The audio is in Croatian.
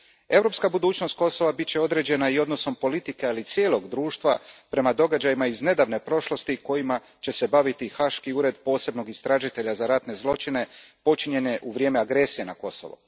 Europska budućnost Kosova bit će određena i odnosom politike, ali i cijelog društva, prema događajima iz nedavne prošlosti kojima će se baviti haški Ured posebnog istražitelja za ratne zločine počinjene u vrijeme agresije na Kosovo.